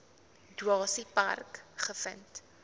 grassy park gevind